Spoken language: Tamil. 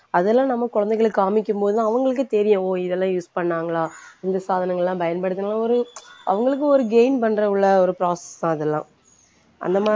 அதெல்லாம் நம்ம குழந்தைகளுக்கு காமிக்கும்போது அவங்களுக்கே தெரியும் ஓ இதெல்லாம் use பண்ணாங்களா இந்த சாதனங்கள்லாம் பயன்படுத்துனா ஒரு அவங்களுக்கு ஒரு gain பண்ற உள்ள ஒரு process தான் அதெல்லாம் அந்த மாதிரி